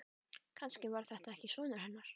Kannski var þetta ekki sonur hennar.